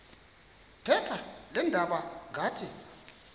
phepha leendaba ngathi